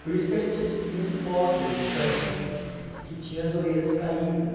Por isso que a gente adquiriu um cocker espanhol, que tinha as orelhas caídas.